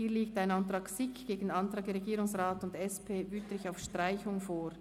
Hier liegt ein Antrag SiK gegen einen Antrag Regierungsrat und SP-JUSO-PSA/Wüthrich auf Streichung vor.